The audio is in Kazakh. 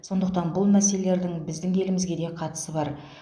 сондықтан бұл мәселелердің біздің елімізге де қатысы бар